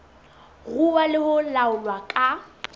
ruuwa le ho laolwa ka